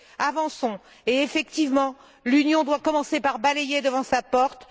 Avançons, et, effectivement, l'Union doit commencer par balayer devant sa porte.